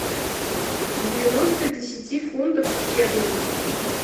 девяносто десяти фунтов стерлингов